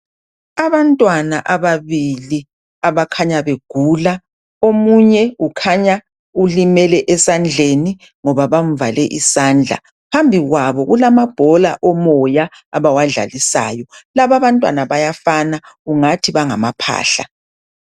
abantwana ababili abakhanya begula omunye ukhanya lulimele esendleni ngoba bamvale isanda phambikwabo kulama bhlola omoya abawadlalisayo laba abantwana bayafana ungathi bagamaphahla